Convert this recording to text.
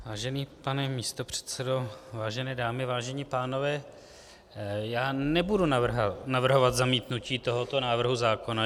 Vážený pane místopředsedo, vážené dámy, vážení pánové, já nebudu navrhovat zamítnutí tohoto návrhu zákona.